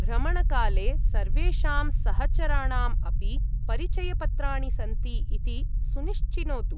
भ्रमणकाले सर्वेषां सहचराणाम् अपि परिचयपत्राणि सन्ति इति सुनिश्चिनोतु।